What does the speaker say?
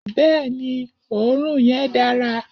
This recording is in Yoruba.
Bẹẹni, òorún yen dàrá